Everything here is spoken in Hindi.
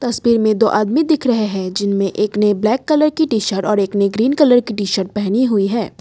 उसपे में दो आदमी दिख रहे हैं जिनमें एक ने ब्लैक कलर की टी शर्ट और एक ने ग्रीन कलर की टी शर्ट पहनी हुई है।